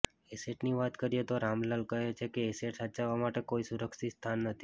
એસેટની વાત કરીએ તો રામલાલ કહે છે કે એસેટ સાચવવા માટે કોઈ સુરક્ષિત સ્થાન નથી